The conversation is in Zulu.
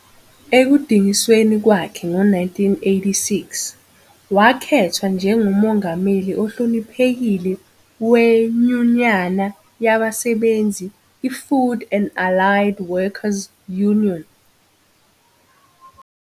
Ekudingisweni kwakhe ngo-1986, wakhethwa njengoMongameli Ohloniphekile weNyunyana Yabasebenzi iFood and Allied Workers Union.